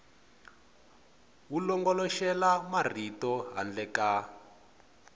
wu longoloxela marito handle ka